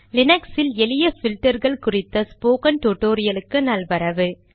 லீனக்ஸில் எளிய பில்டர்கள் குறித்த ஸ்போகன் டுடோரியலுக்கு நல்வரவு